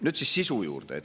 Nüüd siis sisu juurde.